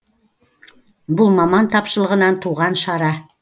бұл маман тапшылығынан туған шара